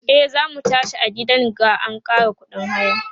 e zamu tashi a gidan ga an Kara ƙuɗin haya